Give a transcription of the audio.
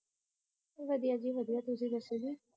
ਵਧੀਆ ਜੀ ਵਧੀਆ ਤੁਸੀਂ ਦੱਸੋ ਜੀ